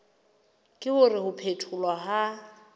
ke hore ho phetholwa ha